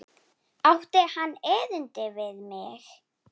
Átti hann erindi við mig?